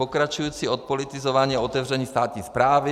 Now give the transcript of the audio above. Pokračující odpolitizování a otevření státních správy.